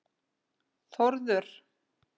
Þórður